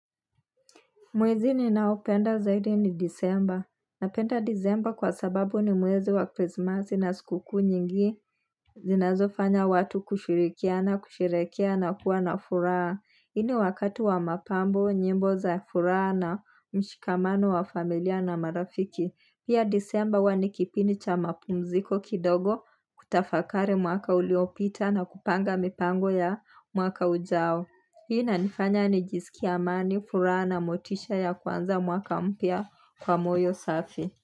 Mwezi ninaopenda zaidi ni disemba. Napenda disemba kwa sababu ni mwezi wa krisimasi na sikukuu nyingi. Zinazo fanya watu kushirikiana kusherehekea na kuwa na furaha. Hii ni wakati wa mapambo, nyimbo za furaha na mshikamano wa familia na marafiki. Pia disemba huwa ni kipindi cha mapumziko kidogo kutafakari mwaka uliopita na kupanga mipango ya mwaka ujao. Hii inanifanya nijisikie amani furaha motisha ya kuanza mwaka mpya kwa moyo safi.